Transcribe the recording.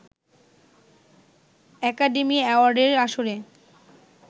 academy অ্যাওয়ার্ডের আসরে